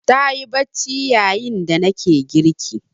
Ta yi bacci yayin da nake girki.